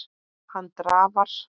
Hann drafar.